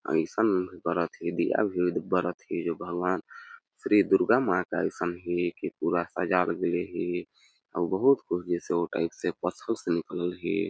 अइसन बरत हे दिया भी बरत हे जो भगवान श्री दुर्गा माँ का अइसन हे के पूरा सजावल गेलेल हे अउ बहुत वो टाइप से पसो से निकलल हे।